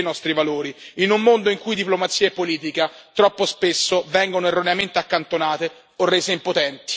Questi sono i nostri principi e i nostri valori, in un mondo in cui diplomazia e politica troppo spesso vengono erroneamente accantonate o rese impotenti.